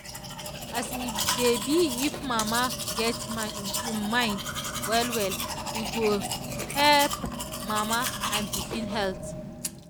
as e dey be if mama get im mind well well e go help mama and pikin health.